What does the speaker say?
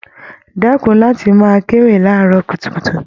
Dẹkùn láti máa kéwì laarọ kutukutu!